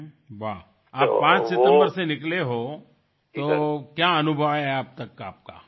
বাহ5 সেপ্টেম্বর থেকে এখনওপর্যন্ত আপনার কীরকম অভিজ্ঞতা হয়েছে